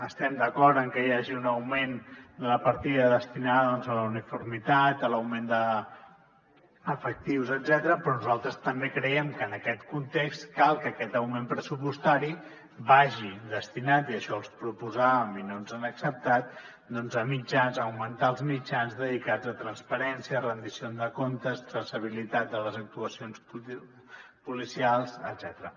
estem d’acord en que hi hagi un augment de la partida destinada a la uniformitat a l’augment d’efectius etcètera però nosaltres també creiem que en aquest context cal que aquest augment pressupostari vagi destinat i això els hi proposàvem i no ens ho han acceptat a augmentar els mitjans dedicats a transparència rendició de comptes traçabilitat de les actuacions policials etcètera